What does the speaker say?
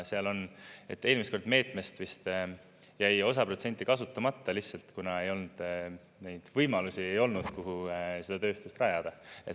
Eelmine kord meetmest viste jäi osa protsenti kasutamata, lihtsalt kuna neid võimalusi ei olnud, kuhu seda tööstust rajada.